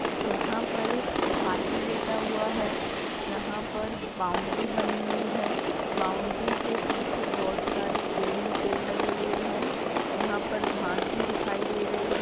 यहाँ पर एक हाथी लेटा हुआ है यहाँ पर बाउंड्री बनी हुई है बाउंड्री के पीछे बहुत सारे पेड़ ही पेड़ लगे हुए हैं यहाँ पर घांस भी दिखाई दे रही है।